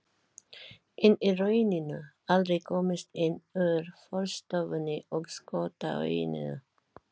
En í rauninni aldrei komist inn úr forstofunni og skótauinu.